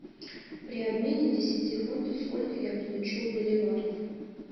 при обмене десяти фунтов сколько я получу боливаров